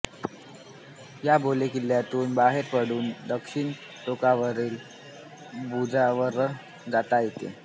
या बालेकिल्ल्यातून बाहेर पडून दक्षिण टोकावरील बुरजावर जाता येते